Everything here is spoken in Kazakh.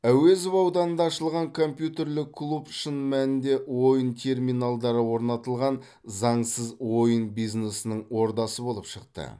әуезов ауданында ашылған компьютерлік клуб шын мәнінде ойын терминалдары орнатылған заңсыз ойын бизнесінің ордасы болып шықты